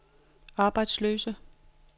arbejdsløse